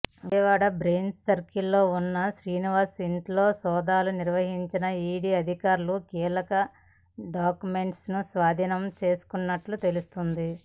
విజయవాడ బెంజ్సర్కిల్లో ఉన్న శ్రీనివాస్ ఇంట్లో సోదాలు నిర్వహించిన ఈడీ అధికారులు కీలక డాక్యుమెంట్లను స్వాధీనం చేసుకున్నట్లు తెలుస్తోంది